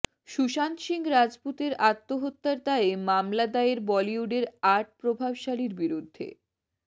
সুশান্ত সিংহ রাজপুতের আত্মহত্যার দায়ে মামলা দায়ের বলিউডের আট প্রভাবশালীর বিরুদ্ধে